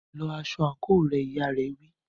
Lọ aṣọ àǹkóò rẹ, ìyá rẹ̀ wí.